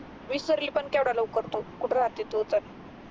विसरली पण का एवढ्या लवकर तू कुठ राहते तू तर